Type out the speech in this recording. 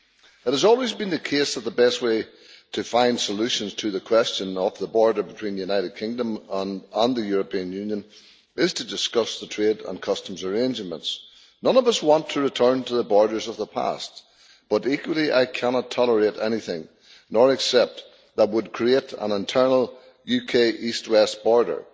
It has always been the case that the best way to find solutions to the question of the border between the United Kingdom and the European Union is to discuss the trade and customs arrangements. None of us want to return to the borders of the past, but equally I cannot tolerate or accept anything that would create an internal UK east west border.